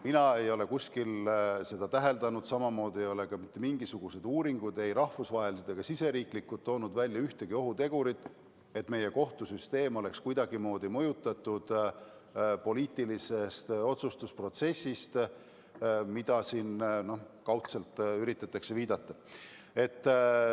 Mina ei ole kuskil seda täheldanud, samamoodi ei ole mitte mingisugused uuringud, ei rahvusvahelised ega siseriiklikud, toonud välja ühtegi ohutegurit, et meie kohtusüsteem oleks kuidagimoodi mõjutatud poliitilisest otsustusprotsessist, millele siin kaudselt üritatakse viidata.